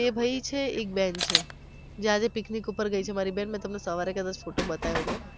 બે ભઈ છે એક બેન છે જે આજે picnic ઉપર ગયી છે મારી બેન મે તમને સવારે કદાચ photo બતાવ્યો હતો